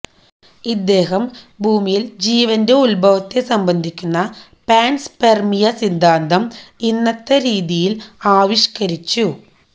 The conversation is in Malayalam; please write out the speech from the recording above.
ഇദ്ദേഹം ഭൂമിയിൽ ജീവന്റെ ഉദ്ഭവത്തെ സംബന്ധിക്കുന്ന പാൻസ്പെർമിയ സിദ്ധാന്തം ഇന്നത്തെ രീതിയിൽ ആവിഷ്കരിച്ചു